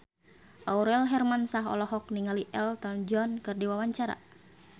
Aurel Hermansyah olohok ningali Elton John keur diwawancara